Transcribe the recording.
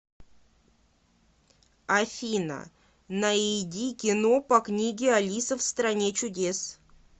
афина наиди кино по книге алиса в стране чудес